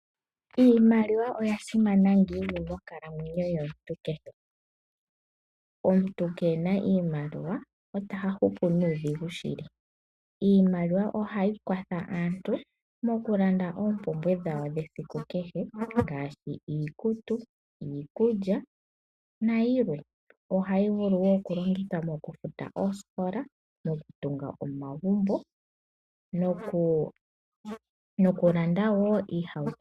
Iimaliwa oya simana ngiini monkalamwenyo yomuntu kehe? Omuntu keena iimaliwa ota hupu nuudhigu shili. Iimaliwa ohayi kwatha aantu mokulanda oompumbwe dhawo dhesiku kehe ngaashi, iikutu, iikulya nayilwe. Ohayi vulu wo mokufuta oosikola, mokutunga omagumbo nokulanda wo iihauto.